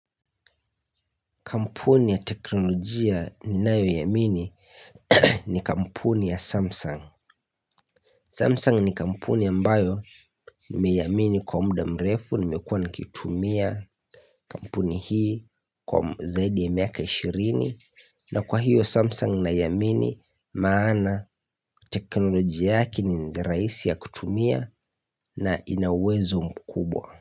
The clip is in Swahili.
Kampuni ya teknolojia ninayoiamini ni kampuni ya Samsung. Samsung ni kampuni ambayo nimeiamini kwa mda mrefu nimekua nikitumia kampuni hii kwa zaidi ya miaka 20. Na kwa hiyo Samsung niamini maana teknolojia yake ni njia raisi ya kutumia na ina uwezo mkubwa.